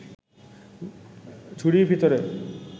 ঝুড়ির ভিতরে